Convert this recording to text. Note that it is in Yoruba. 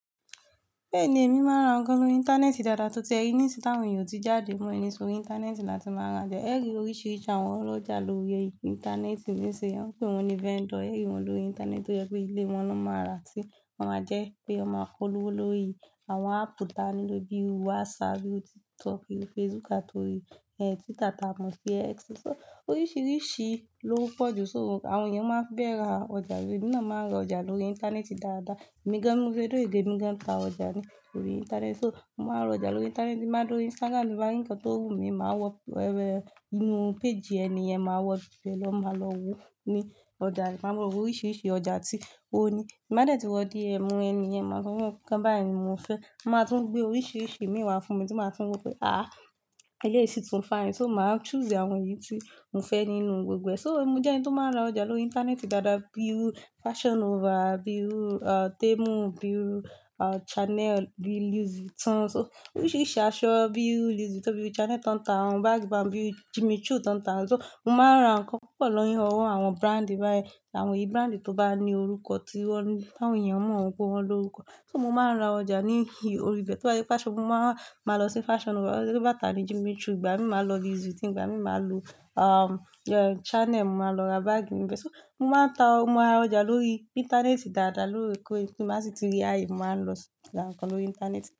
Bẹ́ẹ̀ni, èmi máa ń ra nǹkan lórí íńtánẹ́ẹ̀tì dáadáa. Tó ti ẹ rìní sí t'awọn èèyàn ò ti jáde mọ́ ẹni sórí íńtánẹ́ẹ̀tì la ti máa ràjà. Ẹẹ ri oríṣiríṣi àwọn ọlọ́jà lórí íńtánẹ́ẹ̀tì ní sin, wọ́n ń pè wọ́n ní vendor. Gẹ́gẹ́ wọ́n lórí íńtánẹ́ẹ̀tì tó jẹ́ pé ilé wọn ló máa rà ti wọ́n máa jẹ́ pé ọ máa polówó lórí àwọn áàpù ta ni ló bíi WhatsApp, bíi TikTok, bíi Facebook, àti orí, e, Twitter tà mọ̀ sí X. So oríṣiríṣi ló n pọ̀ jù, so àwọn èèyàn máa ń bẹ̀ra ọjà. Emí náà máa ń ra ọjà lórí íńtánẹ́ẹ̀tì dáadáa. Èmi gan bi mo ṣe dúró yìí èmi gan ta ọjà ní, lórí íńtánẹ́ẹ̀tì. So mo máa ń ra ọjà lórí íńtánẹ́ẹ̀tì, ti n ba do ri Instagram, bí i ǹkan tó wù mí, màá wọ, ẹ́ẹ, inú page ènìyẹn, màá wọ bí ẹ lọ, màá lọ wo ní ọjà, màá mọ oríṣiríṣi ọjà tí ó ní. Ti n bádẹ́tì wọ́ DM ènìyẹn, màá sọ fu n wọn wípé, nǹkan báyi ni mo fẹ́. Ma tún gbé oríṣiríṣi ìmi wá fún mi tí màá tún wo pé, "Àh! Ele yìí sì tún fine. So màá choose àwọn èyí tí mo fẹ́ nínú gbogbo ẹ." So mo jẹ́ ẹni tó máa ń ra ọjà lórí íńtánẹ́ẹ̀tì dáadáa, bíi iru Fashion Nova, bíi iru ah, Temu, bíi iru ah, Chanel, bíi Louis Vuitton. So oríṣiríṣi aṣọ, bíi iru Louis Vuitton, bíi Chanel tán tán, àwọn báàgì bá wọn bíi Jimmy Choo tán tá. So mo máa ń ra nǹkan púpọ̀ lọ́yún ọwọ́ àwọn brand báyìí. Àwọn èyí brand tó bá ní orúkọ tí wọ́n, t'àwọn èèyàn mọ̀ pé wọ́n ló orúkọ. So mo máa ń ra ọjà ní ibi, orí ibẹ. Tí wọ́n bá ní Fashion, màá, màá lọ sí Fashion Nova. Tí wọ́n bá tà ní Jimmy Choo ìgbà mi, màá lọ Louis Vuitton ìgbà mi, màá lo, ah, Chanel, màá lọ ra báàgì mi fẹ́. So mo máa ń ta, mo máa ń ra ọjà lórí íńtánẹ́ẹ̀tì dáadáa lóòókòó, tí n bá sì tí rí áye, màá lọ ra nǹkan lórí íńtánẹ́ẹ̀tì dáadáa.